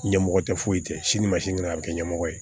Ɲɛmɔgɔ tɛ foyi kɛ sini ma sini kɛnɛ a bɛ kɛ ɲɛmɔgɔ ye